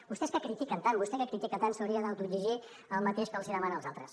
vostès que critiquen tant vostè que critica tant s’hauria d’autoexigir el mateix que els hi demana als altres